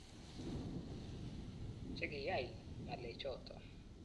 Chekiyai ng'alechoto.